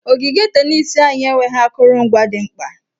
Ogige tenis anyị enweghị akụrụngwa dị mkpa.